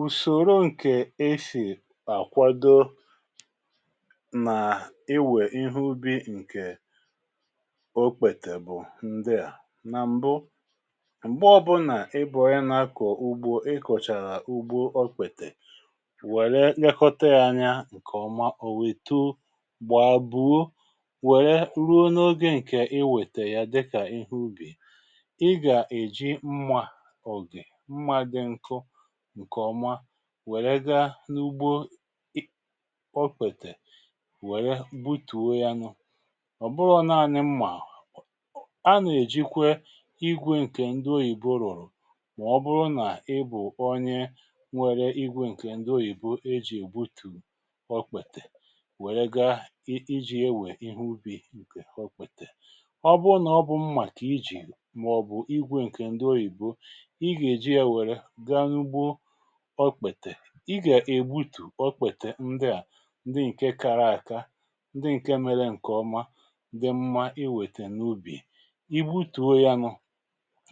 ùsòro ǹkè esì àkwado nà-iwè ihe ubi ǹkè okpètè bụ̀ ndịà. nà m̀bụ, m̀gbe ó bụ nà ị bu onye nà-akọ̀ ugbo ị kọ̀chàrà ugbo okpètè wère nye kọta ya anya ǹkè ọma ò wètu gbà àbụ̀o wère ruo n’ogè ǹkè i wètè ya dịkà ihe ubì iga eji mmà òge mmà di nkó nke oma wère ga n’ugbo òkpètè wère gbutùo ya nụ ọ bụrụ naanị mmà a nà-èjikwe igwè ǹkè ndị oyìbo rụ̀rụ̀ mà ọ bụrụ nà ị bụ̀ onye nwere igwè ǹkè ndị oyìbo e jì egbútù ọkpètè wère ga iji̇ e wèe ihe ubi ǹkè ọkpètè ọ bụrụ nà ọ bụ mmà ka ijì mà ọ̀ bụ̀ igwè ǹkè ndị ọyị̀bo i ga eji ya wére gaa na ugbó ọkpètè i gà-ègbutù ọkpètè ndị à ndị ǹke kaara aka ndị ǹke mela ǹkè ọma ndị mmȧ iwètè n’ubì i butùo ya nụ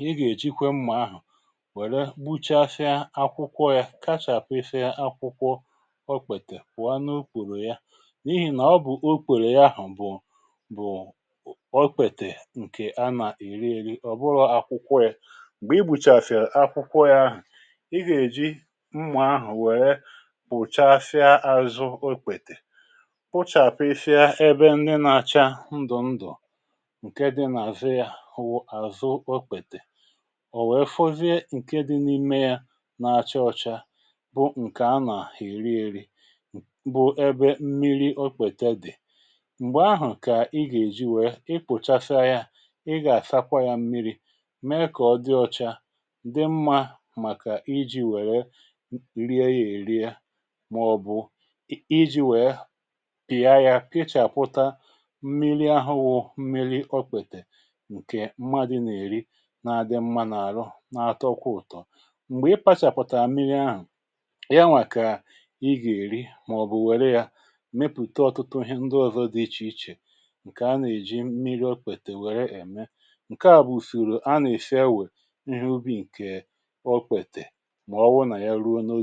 ị gà-èjịkwe mmà ahụ̀ wère gbuchasịa akwụkwọ ya kachàpụ ịsịa akwụkwọ ọkpètè pụ̀anụ ukporo ya n’ihì nà ọ bụ̀ ukporo ya ahụ̀ bụ̀ bu ọkpètè ǹkè a nà-èri èri ọ̀ bụrụ̀ akwụkwọ ya gbè i buchafịà akwụkwọ ya ahụ̀ ígà-èji mmụ̀a ahụ̀ wèrè pùchafịa àzụ okwètè pụchàpụsịa ebe nni nà-achà ndụ̀ ndụ̀ ǹke dị nà-àzụ yȧ wụ àzụ okpetè o wèe fụzie ǹke dị n’ime yȧ na-achaa ọcha bụ ǹkè anà-èrieri bụ̇ ebe mmiri okwètè dì m̀gbè ahụ̀ kà ị gà-èji wèe i kpùchasịa yȧ ị gà-àsakwa yȧ mmiri̇ mee kà ọ dị ọcha dị mmȧ maka iji wére rie ya eri màọ̀bụ̀ i ji̇ wèe pìa yȧ, kịchàkwụta mmiri ahụ̇ wụ̇ mmiri ọ̀kwètè ǹkè mmadụ nà-èri na-adị mmȧ nà-àrụ na-atọkwa ụ̀tọ m̀gbè i patchàkwụtà mmiri ahụ̀ yanwà kà ị gà-èri màọ̀bụ̀ wère yȧ mepùte ọ̀tụtụ ndị ọ̀zọ dị ichè ichè ǹkè a nà-èji mmiri ọ̀kwètè wère ème ǹke à bụ̀ ùsoro a nà-isi ewè ihe ubi ǹkè ọkwètè mà ọwụ nà ihe ruo n’oge